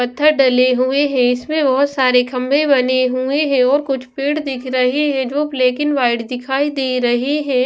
पत्थर डले हुए हैं इसमें बहुत सारे खंबे बने हुए हैं और कुछ पेड़ दिख रहे हैं जो ब्लैक एंड वाइट दिखाई दे रहे हैं ।